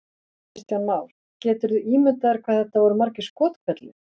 Kristján Már: Geturðu ímyndað þér hvað þetta voru margir skothvellir?